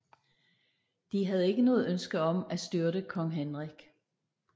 De havde ikke noget ønske om at styrte kong Henrik